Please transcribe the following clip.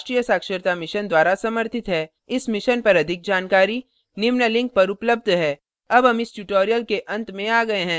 इस mission पर अधिक जानकारी निम्न लिंक पर उपलब्ध है